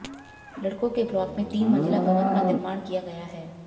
लडक़ों के ब्लाक में तीन मंजिला भवन का निर्माण किया गया है